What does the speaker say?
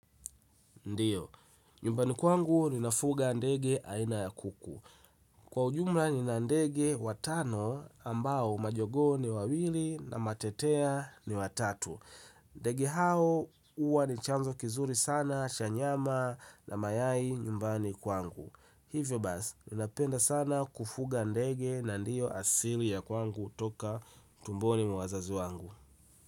Ndio, nyumbani kwangu ninafuga ndege aina ya kuku. Kwa ujumla nina ndege watano ambao majogoo ni wawili na matetea ni watatu ndege hao huwa ni chanzo kizuri sana cha nyama na mayai nyumbani kwangu hivyo basi, ninapenda sana kufuga ndege na ndio asili ya kwangu toka tumboni mwa wazazi wangu.